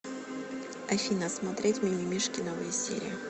афина смотреть мимимишки новые серии